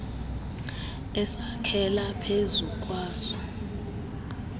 esakhela phezu kwaso